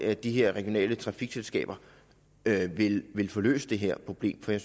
at de regionale trafikselskaber vil få løst det her problem fordi